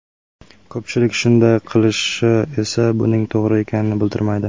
Ko‘pchilik shunday qilishi esa buning to‘g‘ri ekanini bildirmaydi.